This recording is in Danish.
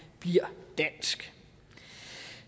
bliver dansk